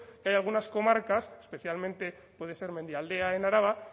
que hay algunas comarcas especialmente puede ser mendialdea en araba